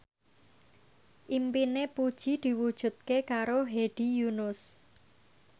impine Puji diwujudke karo Hedi Yunus